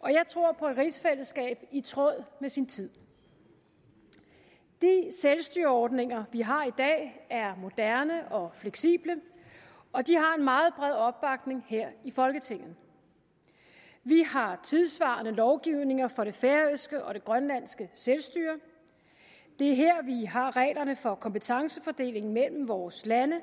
og jeg tror på et rigsfællesskab i tråd med sin tid de selvstyreordninger vi har i dag er moderne og fleksible og de har en meget bred opbakning her i folketinget vi har tidssvarende lovgivninger for det færøske og det grønlandske selvstyre det er her vi har reglerne for kompetencefordeling mellem vores lande